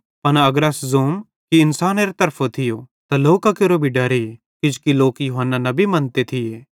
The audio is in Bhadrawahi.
पन अगर अस ज़ोतम कि इन्सानेरी तरफां थियो त लोकां केरो भी डरे किजोकि लोक यूहन्ना नबी मन्ते थिये